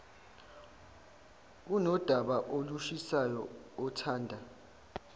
unodaba olushisayo othanda